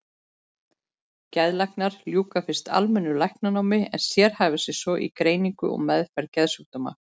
Geðlæknar ljúka fyrst almennu læknanámi en sérhæfa sig svo í greiningu og meðferð geðsjúkdóma.